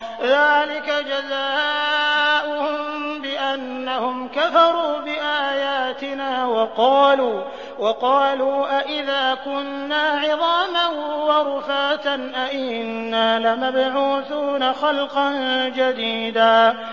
ذَٰلِكَ جَزَاؤُهُم بِأَنَّهُمْ كَفَرُوا بِآيَاتِنَا وَقَالُوا أَإِذَا كُنَّا عِظَامًا وَرُفَاتًا أَإِنَّا لَمَبْعُوثُونَ خَلْقًا جَدِيدًا